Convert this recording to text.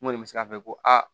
N kɔni bɛ se ka fɔ ko aa